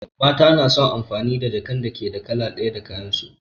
Mata na son amfani da jakan da ke da kala ɗaya da kayan su